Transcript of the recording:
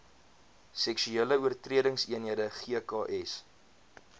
seksuele oortredingseenhede gks